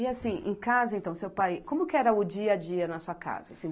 E assim, em casa, então, seu pai, como que era o dia a dia na sua casa? Assim